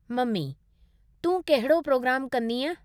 Mummy: तूं कहिड़ो programme कंदीअ?